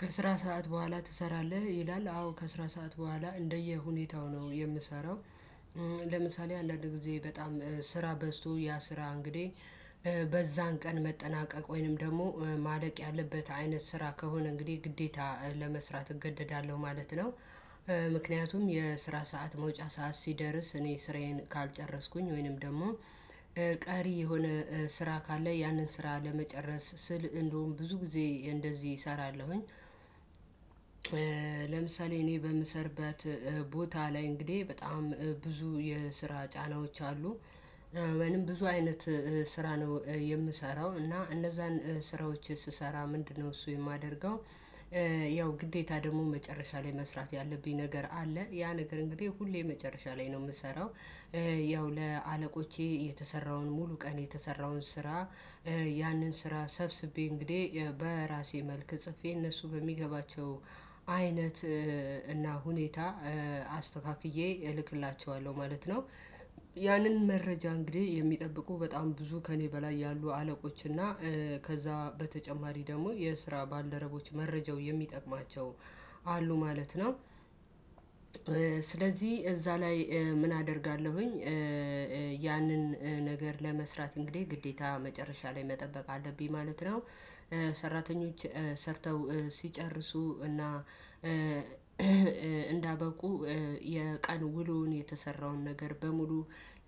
ከስራ ሰዓት በኋላ ትሰራለህ ይላል አዎ ከስራ ሰዓት በኋላ እንደየሁኔታው ነው የምሰራው። ለምሳሌ አንዳንድ ጊዜ በጣም ስራ በዝቶ ያ ስራ እንግዲህ በዛን ቀን መጠናቀቅ ወይንም ደግሞ ማለቅ ያለበት አይነት ስራ ከሆነ እንግዲህ ግዴታ ለመስራት እገደዳለሁ ማለት ነው። ምክንያቱም የስራ ሰዓት መውጫ ሰዓት ሲደርስ እኔ ስራዬን ካልጨረስኩኝ ወይንም ደግሞ ቀሪ የሆነ ስራ ካለ ያንን ስራ ለመጨረስ ስል እንደውም ብዙ ጊዜ እንደዚህ እሰራለሁኝ። ለምሳሌ እኔ በምሰርበት ቦታ ላይ እንግዲህ በጣም ብዙ የስራ ጫናዎች አሉ። ወይም ብዙ አይነት ስራ ነው የምሰራው እና እነዛን ስራዎች ስሰራ ምንድነው እሱ የማደርገው? ያው ግዴታ ደግሞ መጨረሻ ላይ መስራት ያለብኝ ነገር አለ ያ ነገር እንግዲህ ሁሌ መጨረሻ ላይ ነው የምሰራው። ያው ለአለቆቼ የተሰራውን ሙሉ ቀን የተሰራውን ስራ ያንን ስራ ሰብስቤ እንግዲህ በራሴ መልክ ጽፌ እነሱ በሚገባቸው አይነት እና ሁኔታ አስተካክዬ እልክላቸዋለሁ ማለት ነው። ያንን መረጃ እንግዲህ የሚጠብቁ በጣም ብዙ ከእኔ በላይ ያሉ አለቆች እና ከዛ በተጨማሪ ደግሞ የስራ ባለደረቦች መረጃው የሚጠቅማቸው አሉ ማለት ነው። ስለዚህ እዛ ላይ ምን አደርጋለሁኝ? ያንን ነገር ለመስራት እንግዲህ ግዴታ መጨረሻ ላይ መጠበቅ አለብኝ ማለት ነው። ሰራተኞች ሰርተው ሲጨርሱ እና እንዳበቁ የቀን ውሎውን የተሰራውን ነገር በሙሉ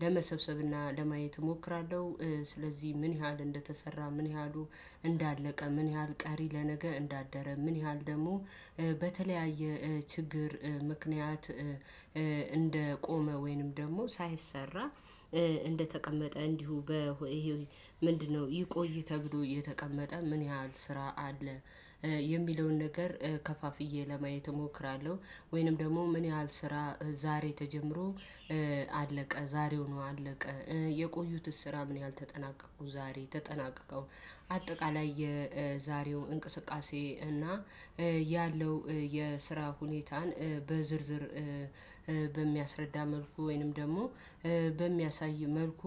ለመሰብሰብና ለማየት እሞክራለሁ። ስለዚህ ምን ያህል እንደተሰራ ምን ያህሉ እንዳለቀ ምን ያህል ቀሪ ለነገ እንዳደረ ምን ያህል ደግሞ በተለያየ ችግር ምክንያት እንደቆመ ወይንም ደግሞ ሳይሰራ እንደተቀመጠ እንዲሁ ምንድነው ይቆይ ተብሎ የተቀመጠ ምን ያህል ስራ አለ የሚለውን ነገር ከፋፍዬ ለማየት እሞክራለሁ። ወይንም ደግሞ ምን ያህል ስራ ዛሬ ተጀምሮ አለቀ ዛሬው ነው አለቀ የቆዩት ስራ ምን ያህል ተጠናቀቁ ዛሬ ተጠናቀቀው አጠቃላይ የዛሬው እንቅስቃሴ እና ያለው የስራ ሁኔታን በዝርዝር በሚያስረዳ መልኩ ወይንም ደግሞ በሚያሳይ መልኩ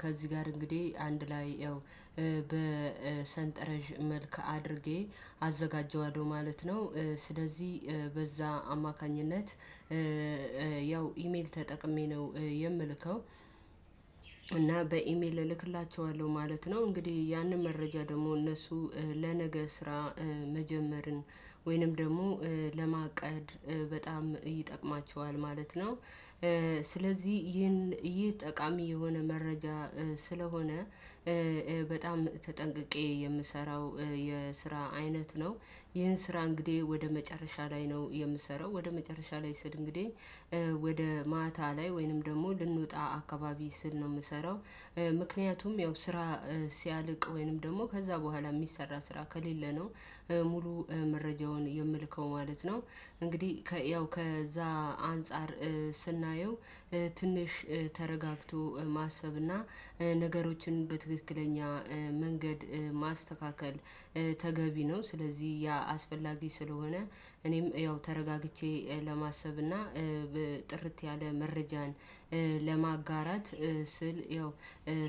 ከዚህ ጋር እንግዲህ አንድ ላይ ያው በሰንጠረዥ መልክ አድርጌ አዘጋጀዋለሁ ማለት ነው። ስለዚህ በዛ አማካኝነት ያው ኢሜል ተጠቅሜ ነው የምልከው እና በኢሜል እልክላቸዋለሁ ማለት ነው። እንግዲህ ያንን መረጃ ደግሞ እነሱ ለነገ ስራ መጀመርን ወይንም ደግሞ ለማቀድ በጣም ይጠቅማቸዋል ማለት ነው። ስለዚህ ይህን ይህ ጠቃሚ የሆነ መረጃ ስለሆነ በጣም ተጠንቅቄ የምሰራው የስራ አይነት ነው። ይህን ስራ እንግዲህ ወደ መጨረሻ ላይ ነው የምሰራው ወደ መጨረሻ ላይ ስል እንግዲህ ወደ ማታ ላይ ወይንም ደግሞ ልንወጣ አካባቢ ስል ነው የምሰራው። ምክንያቱም ያው ስራ ሲያልቅ ወይንም ደግሞ ከዛ በኋላ የሚሰራ ስራ ከሌለ ነው ሙሉ መረጃውን የምልከው ማለት ነው። እንግዲህ ያው ከዛ አንፃር ስናየው ትንሽ ተረጋግቶ ማሰብና ነገሮችን በትክክለኛ መንገድ ማስተካከል ተገቢ ነው። ስለዚህ ያ አስፈላጊ ስለሆነ እኔም ያው ተረጋግቼ ለማሰብ እና ጥርት ያለ መረጃን ለማጋራት ስል ያው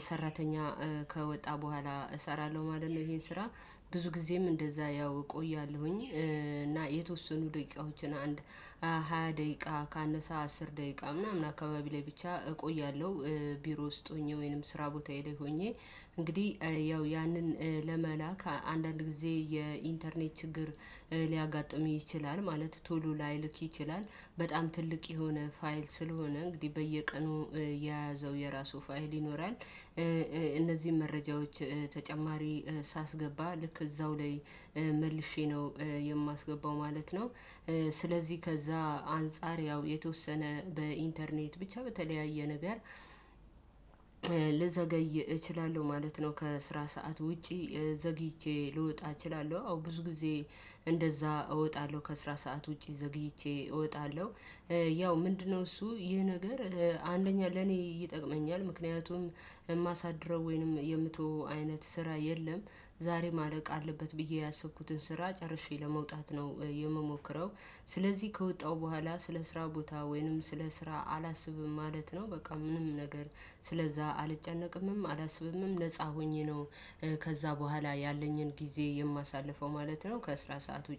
ሰራተኛ ከወጣ በኋላ እሰራለሁ ማለት ነው። ይሄን ስራ ብዙ ጊዜም እንደዛ ያው እቆያለሁኝ። እና የተወሰኑ ደቂቃዎችን አንድ ሃያ ደቂቃ ካነሳ አስር ደቂቃ ምናምን አካባቢ ላይ ብቻ እቆያለሁ። ቢሮ ውስጥ ሆኜ ወይንም ስራ ቦታዬ ላይ ሆኜ። እንግዲህ ያው ያንን ለመላክ አንዳንድ ጊዜ የኢንተርኔት ችግር ሊያጋጥምህ ይችላል ማለት ቶሎ ላይልክ ይችላል በጣም ትልቅ የሆነ ፋይል ስለሆነ እንግዲህ በየቀኑ የያዘው የራሱ ፋይል ይኖራል። እነዚህን መረጃዎች ተጨማሪ ሳስገባ ልክ እዛው ላይ መልሼ ነው የማስገባው ማለት ነው። ስለዚህ ከዛ አንፃር ያው የተወሰነ በኢንተርኔት ብቻ በተለያየ ነገር ልዘገይ እችላለሁ ማለት ነው። ከስራ ሰዓት ውጪ ዘግይቼ ልወጣ እችላለሁ አዎ ብዙ ጊዜ እንደዛ እወጣለሁ ከስራ ሰዓት ውጪ ዘግይቼ እወጣለሁ። ያው ምንድነው እሱ ይህ ነገር አንደኛ ለኔ ይጠቅመኛል ምክንያቱም የማሳድረው ወይንም የምትተው አይነት ስራ የለም። ዛሬ ማለቅ አለበት ብዬ ያሰብኩትን ስራ ጨርሼ ለመውጣት ነው የምሞክረው። ስለዚህ ከወጣሁ በኋላ ስለ ስራ ቦታ ወይንም ስለ ስራ አላስብም ማለት ነው በቃ ምንም ነገር ስለዛ አልጨነቅምም አላስብምም ነፃ ሆኜ ነው። ከዛ በኋላ ያለኝን ጊዜ የማሳልፈው ማለት ነው ከእስራት ሰዓት